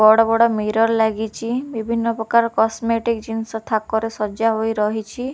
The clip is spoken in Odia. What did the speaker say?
ବଡ ବଡ ମିରର ଲାଗିଛି ବିଭିନ୍ନ ପ୍ରକାର କସ୍ମେଟିକ୍‌ ଜିନିଷ ଥାକରେ ସଜା ହୋଇରହିଛି ।